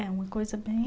É uma coisa bem...